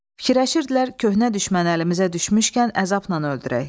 Fikirləşirdilər köhnə düşmən əlimizə düşmüşkən əzabnan öldürək.